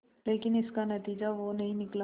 लेकिन इसका नतीजा वो नहीं निकला